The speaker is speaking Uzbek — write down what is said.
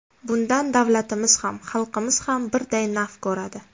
Bundan davlatimiz ham, xalqimiz ham birday naf ko‘radi.